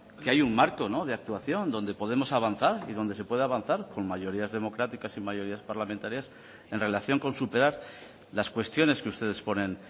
que hay un marco de actuación donde podemos avanzar y donde se puede avanzar con mayorías democráticas y mayorías parlamentarias en relación con superar las cuestiones que ustedes ponen